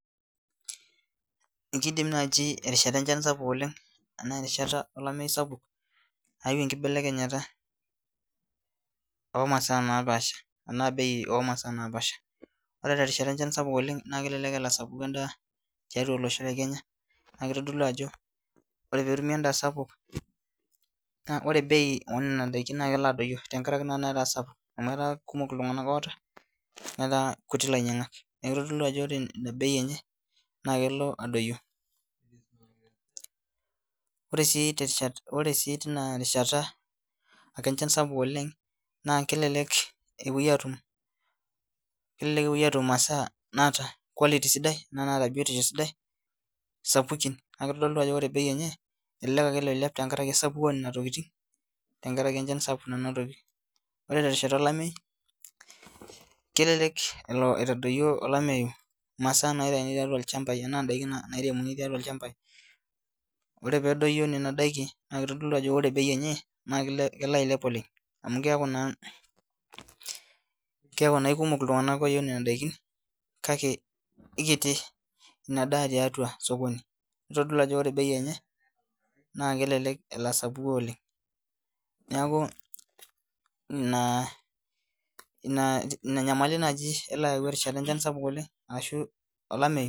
Ekidim naaji erishata enchan sapuk ashu enkata olamei sapuk ayawu enkinelekenyata oo maasai napasha ashu bei oo masaa napasha ore tenkata enchan sapuk oleng naa kelelek elo endaa asapuku oleng tiatua olosho lee Kenya naa kitodolu Ajo oree pee etumi endaa sapuk naa ore bei ee Nona daiki naa kelo adoyio tenkaraki netaa sapuk amu etaa kumok iltung'ana lotaaa netaa kutik lainyiangak neeku ore ena bei]enye naa kelo adoyio ore sii teina rishata enchan sapuk oleng naa kelelek epuoi atum maasai naata quality sidai Kuna nataa biotisho sidai sapukin naa kitodolu Ajo ore bei enye elelek ake elo ailepu tenkaraki esapuko oo Nena tokitin tenkaraki enchan sapuk nanotoki ore terishata olamei kelelek elo olamei atadoyio emasaa nairemuni tolchambai ore pee edoyio Nena daiki naa kitodolu Ajo kelo bei enye ailep oleng amu keeku naa keeku ekumok iltung'ana oyieu Nena daiki kake ekiti ena daa tiatua sokoni nitodolu Ajo ore bei naa kelelek elo asapuku oleng neeku ena nyamalitin naaji elo ayau erishata enchan sapuk oleng ashu olamei